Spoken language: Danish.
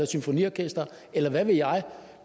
symfoniorkester eller hvad ved jeg